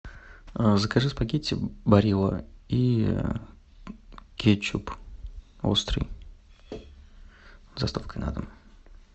закажи спагетти барилла и кетчуп острый с доставкой на дом